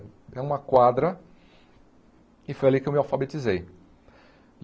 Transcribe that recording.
É uma quadra e foi ali que eu me alfabetizei.